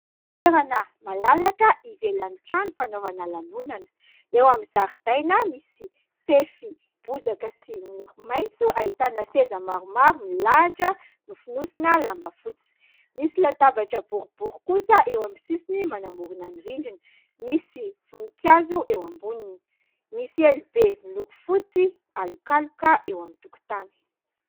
Toerana malalaka ivelan'ny trano fanaovana lanonana : eo amin'ny zaridaina misy fefy bozaka sy miloko maitso, ahitana seza maromaro milahatra nofonosina lamba fotsy, misy latabatra boribory kosa eo amin'ny sisiny manamorona ny rindrina, misy vonikazo eo amboniny, misy elo be miloko fotsy alokaloka eo amin'ny tokotany.